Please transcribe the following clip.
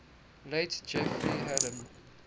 late jeffrey hadden